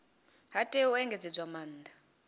ha tea u engedzedzwa maanda